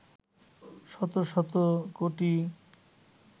শত শত কোটি